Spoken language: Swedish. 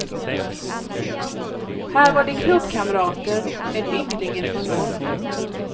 Här var de klubbkamrater med ynglingen från norr.